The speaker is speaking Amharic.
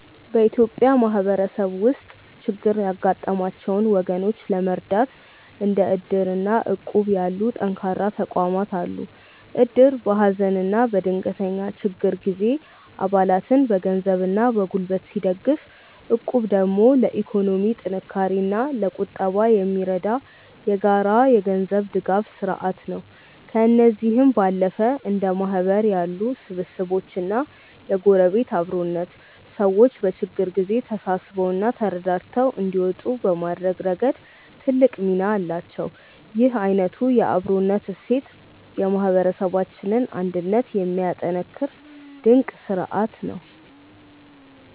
በኢትዮጵያ ማህበረሰብ ውስጥ ችግር ያጋጠማቸውን ወገኖች ለመርዳት እንደ እድር እና እቁብ ያሉ ጠንካራ ባህላዊ ተቋማት አሉ። እድር በሀዘንና በድንገተኛ ችግር ጊዜ አባላትን በገንዘብና በጉልበት ሲደግፍ፣ እቁብ ደግሞ ለኢኮኖሚ ጥንካሬና ለቁጠባ የሚረዳ የጋራ የገንዘብ ድጋፍ ስርአት ነው። ከእነዚህም ባለፈ እንደ ማህበር ያሉ ስብስቦችና የጎረቤት አብሮነት፣ ሰዎች በችግር ጊዜ ተሳስበውና ተረዳድተው እንዲወጡ በማድረግ ረገድ ትልቅ ሚና አላቸው። ይህ አይነቱ የአብሮነት እሴት የማህበረሰባችንን አንድነት የሚያጠናክር ድንቅ ስርአት ነው።